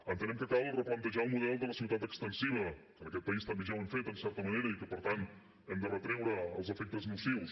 entenem que cal replantejar el model de la ciutat extensiva que en aquest país també ja ho hem fet en certa manera i que per tant hem de retreure els efectes nocius